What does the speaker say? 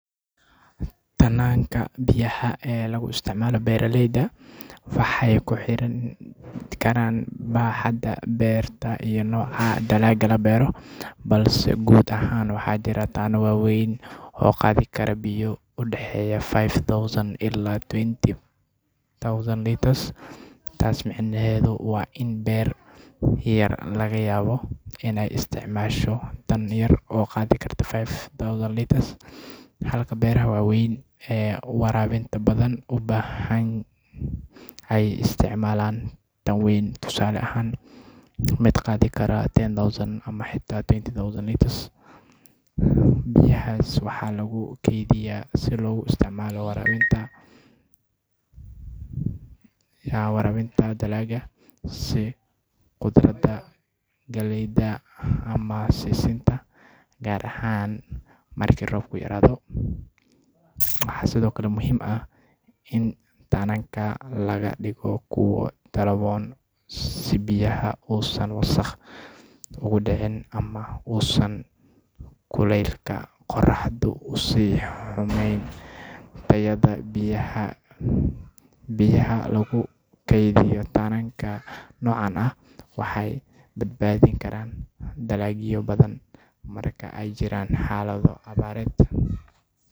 Taananka biyaha ee lagu isticmaalo beeralayda waxay ku xirnaan karaan baaxadda beerta iyo nooca dalagga la beero, balse guud ahaan waxaa jira taananno waaweyn oo qaadi kara biyo u dhexeeya five thousand ilaa twenty thousand litres. Taas micnaheedu waa in beer yar laga yaabo inay isticmaasho taan yar oo qaadi karta five thousand litres, halka beeraha waaweyn ee waraabinta badan u baahan ay isticmaalaan taan ka weyn, tusaale ahaan mid qaadi kara ten thousand ama xitaa twenty thousand litres. Biyahaas waxaa lagu keydiyaa si loogu isticmaalo waraabinta dalagga sida khudaarta, galleyda, ama sisinta, gaar ahaan marka roobku yaraado. Waxaa sidoo kale muhiim ah in taananka laga dhigo kuwo daboolan si biyaha uusan wasakh ugu dhicin ama uusan kuleylka qoraxdu u sii xumeyn tayada biyaha. Biyaha lagu kaydiyo taananka noocaan ah waxay badbaadin karaan dalagyo badan marka ay jiraan xaalado abaareed.